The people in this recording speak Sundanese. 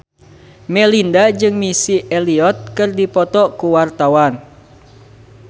Melinda jeung Missy Elliott keur dipoto ku wartawan